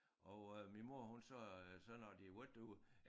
Og øh min mor hun sagde øh så når de havde været derude